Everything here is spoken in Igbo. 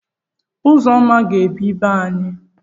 Uzoma aga-ebi be anyị.